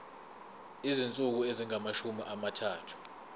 izinsuku ezingamashumi amathathu